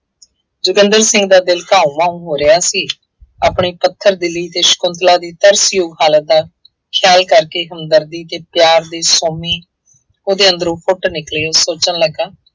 ਜੋਗਿੰਦਰ ਸਿੰਘ ਦਾ ਦਿਲ ਘਾਊਂ ਮਾਊਂ ਹੋ ਰਿਹਾ ਸੀ। ਆਪਣੇ ਪੱਥਰ ਦਿਲੀ ਅਤੇ ਸ਼ੰਕੁਤਲਾ ਦੀ ਤਰਸਯੋਗ ਹਾਲਤ ਦਾ ਖਿਆਲ ਕਰਕੇ ਹਮਦਰਦੀ ਅਤੇ ਪਿਆਰ ਦੀ ਸੋਮੀ ਉਹਦੇ ਅੰਦਰੋਂ ਫੁੱਟ ਨਿਕਲੀ, ਉਹ ਸੋਚਣ ਲੱਗਾ।